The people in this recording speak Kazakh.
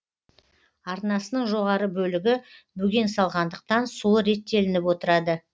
арнасының жоғары бөлігі бөген салғандықтан суы реттелініп отырады